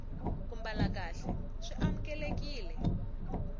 ku mbala kahle swi amukelekile